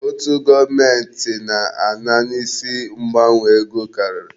Ụtụ gọọmenti na-ana n'isi mgbanwe ego karịrị.